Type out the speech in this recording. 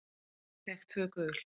Fékk tvö gul.